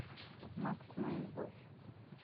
макс моя любовь